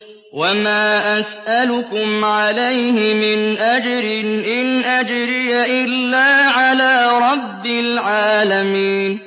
وَمَا أَسْأَلُكُمْ عَلَيْهِ مِنْ أَجْرٍ ۖ إِنْ أَجْرِيَ إِلَّا عَلَىٰ رَبِّ الْعَالَمِينَ